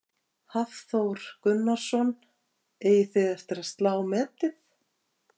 Hafþór Gunnarsson: Eigið þið eftir að slá metið?